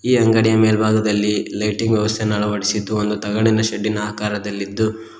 ಈ ಅಂಗಡಿಯ ಮೇಲ್ಭಾಗದಲ್ಲಿ ಲೈಟಿಂಗ್ ವ್ಯವಸ್ಥೆಯನ್ನು ಅಳವಡಿಸಿದ್ದು ಒಂದು ತಗಡಿನ ಶೆಡ್ಡ್ ಇನ ಆಕಾರದಲ್ಲಿದ್ದು--